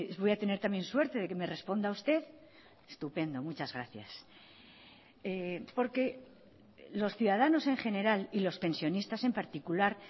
voy a tener también suerte de que me responda usted estupendo muchas gracias porque los ciudadanos en general y los pensionistas en particular